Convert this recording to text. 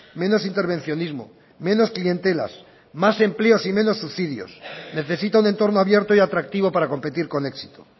menos intervencionismo menos clientelas más empleos y menos subsidios necesita un entorno abierto y atractivo para competir con éxito